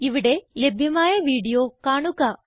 ഇവിടെ ലഭ്യമായ വീഡിയോ കാണുക